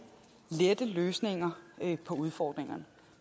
lette løsninger på udfordringerne